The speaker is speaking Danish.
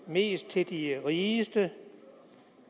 mest til de rigeste